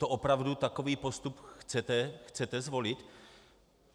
To opravdu takový postup chcete zvolit?